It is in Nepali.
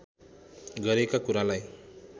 गरेका कुरालाई